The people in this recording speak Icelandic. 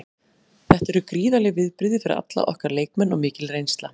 Þetta eru gríðarleg viðbrigði fyrir alla okkar leikmenn og mikil reynsla.